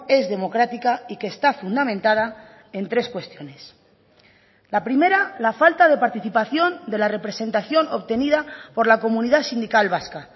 es democrática y que está fundamentada en tres cuestiones la primera la falta de participación de la representación obtenida por la comunidad sindical vasca